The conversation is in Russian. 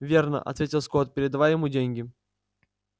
верно ответил скотт передавая ему деньги